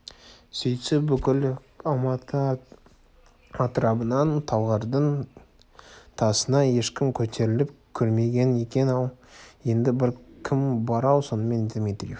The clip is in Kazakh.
сөйтсе бүкіл алматы атырабынан талғардың тасына ешкім көтеріліп көрмеген екен ау енді кім бар-ау сонымен дмитриев